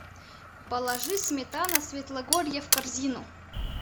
положи сметана свитлогорье в корзину